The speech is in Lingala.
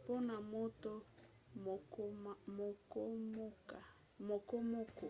mpona moto mokomoko